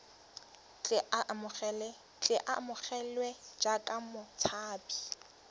tle a amogelwe jaaka motshabi